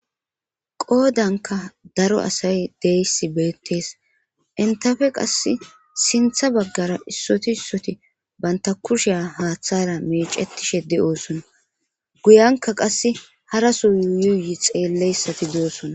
Qoodanka daro asay deyssi beettees intafe qas sintha baggara issoti issoti banta kushea haaththara meecetishe de7oosona guyanka qasse haraso yuyuuyi xeelleyssati doossona